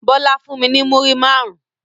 Bọlá fún mi ní múrí máarun